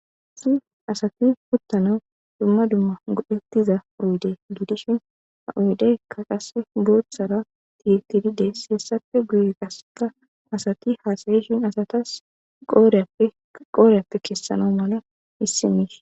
isi asati puttana dumma dumma godhettiza uruude giidishin ha oydeykka qas boothtsara tiytidide siyessappe guye qaseka asati haasayishin asatas qooreappe keessana mala issi miis